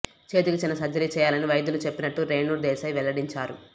చేతికి చిన్న సర్జరీ చేయాలని వైద్యులు చెప్పినట్లు రేణు దేశాయ్ వెల్లడించారు